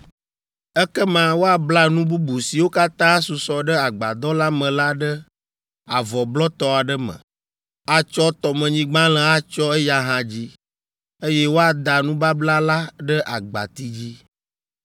“Ekema woabla nu bubu siwo katã asusɔ ɖe agbadɔ la me la ɖe avɔ blɔtɔ aɖe me, atsɔ tɔmenyigbalẽ atsyɔ eya hã dzi, eye woada nubabla la ɖe agbati dzi.